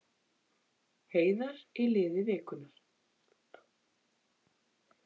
Heiðar í liði vikunnar